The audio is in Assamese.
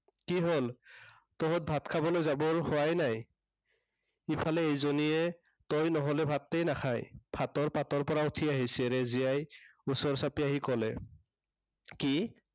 কি হ'ল, তহঁত ভাত খাবলৈ যাৱৰ হোৱাই নাই। ইফালে এইজনীয়ে, তই নহলে ভাতেই নাখায়। ভাতৰ পাতৰ পৰা উঠি আহিছে। ৰেজিয়াই ওচৰ চাপি আহি কলে। কি?